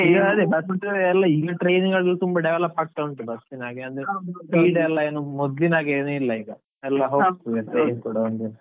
ಈಗ ಎಲ್ಲಾ ಈಗ train ಅಲ್ಲೂ ತುಂಬಾ development ಆಗ್ತಾ ಉಂಟು bus speed ಎಲ್ಲಾ ಮೊದ್ಲಿನ ಹಾಗೆ ಏನು ಇಲ್ಲ ಈಗ ಎಲ್ಲಾ ಹೋಗ್ತದೆ .